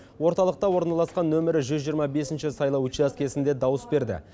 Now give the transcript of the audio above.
орталықта орналасқан нөмірі жүз жиырма бесінші сайлау учаскесінде дауыс берді